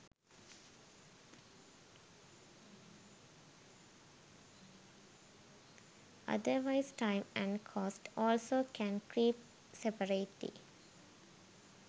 otherwise time and cost also can creep separately.